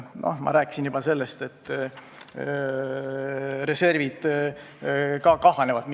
Ma juba rääkisin sellest, et reservid ka kahanevad.